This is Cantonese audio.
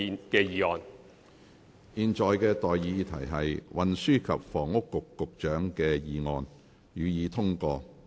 我現在向各位提出的待議議題是：運輸及房屋局局長動議的議案，予以通過。